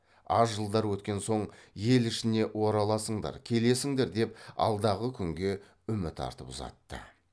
аз жылдар өткен соң ел ішіне ораласыңдар келесіңдер деп алдағы күнге үміт артып ұзатты